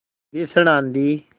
भीषण आँधी